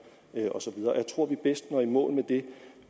og jeg tror vi bedst når i mål med det